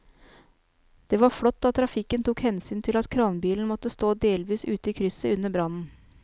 Det var flott at trafikken tok hensyn til at kranbilen måtte stå delvis ute i krysset under brannen.